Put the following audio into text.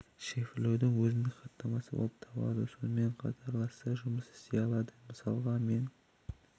шифрлеудің өзіндік хаттамасы болып табылады сонымен қатарласа жұмыс істей алады мысалға мен